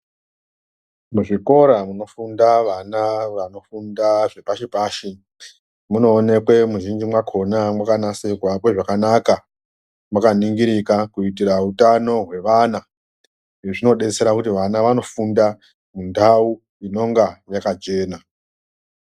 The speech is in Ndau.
Muzvikora munofunda vana vanofunda zvepashi-pashi munoonekwa muzhinji makona makanasirwa kwezvakanaka. Makaningirika kuitira utano hwevana, izvi zvinobetsera kuti vana vanofunda mundau inonga yakachena.